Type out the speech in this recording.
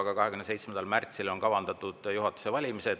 Aga 27. märtsile on kavandatud juhatuse valimised.